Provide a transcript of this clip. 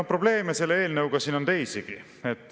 Ja probleeme selle eelnõuga siin on teisigi.